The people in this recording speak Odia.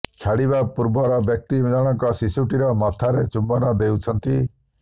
ଛାଡ଼ିବା ପୂର୍ବର ବ୍ୟକ୍ତି ଜଣକ ଶିଶୁଟିର ମଥାରେ ଚୁମ୍ବନ ଦେଉଛନ୍ତି